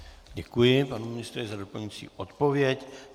Děkuji, pane ministře, za doplňující odpověď.